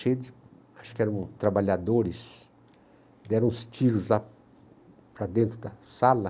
cheio de, acho que eram trabalhadores, deram uns tiros lá para dentro da sala.